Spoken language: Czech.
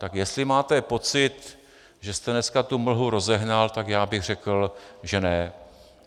Tak jestli máte pocit, že jste dneska tu mlhu rozehnal, tak já bych řekl, že ne.